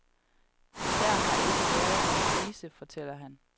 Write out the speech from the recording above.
Der har ikke været nogen krise, fortæller han.